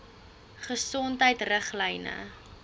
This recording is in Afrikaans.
gesondheidriglyne